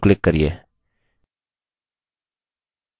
label title पर double click करिये